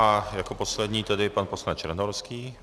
A jako poslední tedy pan poslanec Černohorský.